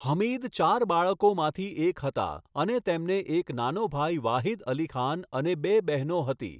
હમીદ ચાર બાળકોમાંથી એક હતા અને તેમને એક નાનો ભાઈ વાહિદ અલી ખાન અને બે બહેનો હતી.